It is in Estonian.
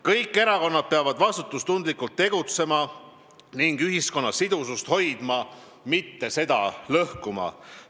Kõik erakonnad peavad vastutustundlikult tegutsema ning ühiskonna sidusust hoidma, mitte seda lõhkuma.